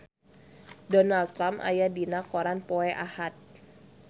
Donald Trump aya dina koran poe Ahad